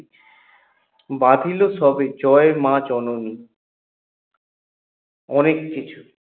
বাধিল সবে জয় মা জননী অনেককিছু